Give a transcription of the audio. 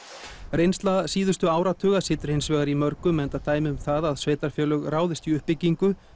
reynsla síðustu áratuga situr hins vegar í mörgum enda dæmi um það að sveitarfélög ráðist í uppbyggingu